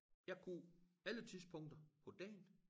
Jeg kunne alle tidspunkter på dagen